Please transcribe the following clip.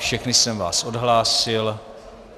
Všechny jsem vás odhlásil.